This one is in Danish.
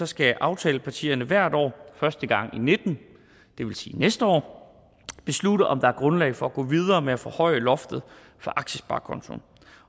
skal aftalepartierne hvert år første gang og nitten det vil sige næste år beslutte om der er grundlag for at gå videre med at forhøje loftet for aktiesparekontoen